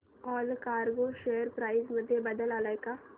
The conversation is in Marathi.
ऑलकार्गो शेअर प्राइस मध्ये बदल आलाय का